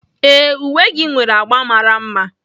Ee, uwe gị nwere agba mara mma.